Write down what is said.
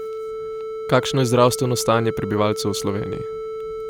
Kakšno je zdravstveno stanje prebivalcev v Sloveniji?